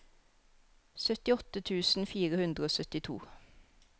syttiåtte tusen fire hundre og syttito